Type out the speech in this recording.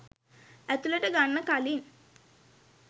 ඇතුළට ගන්න කලින්